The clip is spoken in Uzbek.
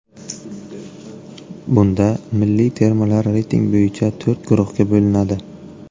Bunda milliy termalar reyting bo‘yicha to‘rt guruhga bo‘linadi.